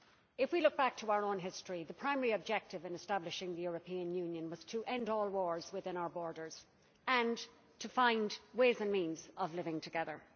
If we look back to our own history, the primary objective in establishing the European Union was to end all wars within our borders and to find ways and means of living together.